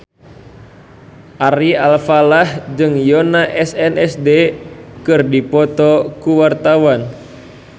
Ari Alfalah jeung Yoona SNSD keur dipoto ku wartawan